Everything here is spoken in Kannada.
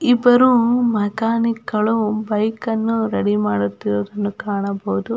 ಇಬ್ಬರು ಮೆಕ್ಯಾನಿಕ್ ಗಳು ಬೈಕನ್ನು ರೆಡಿ ಮಾಡುತ್ತಿರುವುದನ್ನು ಕಾಣಬಹುದು.